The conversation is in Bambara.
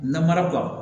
Namara b'u kan